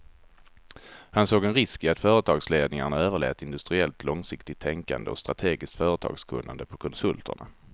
Han såg en risk i att företagsledningarna överlät industriellt långsiktigt tänkande och strategiskt företagskunnande på konsulterna.